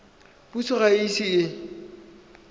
puso ga e ise e